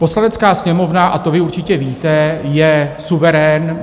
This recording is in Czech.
Poslanecká sněmovna, a to vy určitě víte, je suverén.